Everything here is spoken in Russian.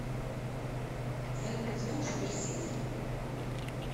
салют знаешь персидский